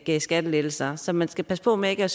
gav skattelettelser så man skal passe på med ikke at